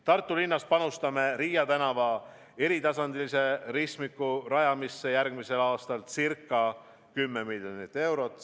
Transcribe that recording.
Tartu linnas panustame Riia tänava eritasandilise ristmiku rajamisse järgmisel aastal ca 10 miljonit eurot.